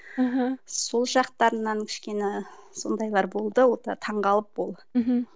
мхм сол жақтарынан кішкене сондайлар болды ол да таңғалып ол мхм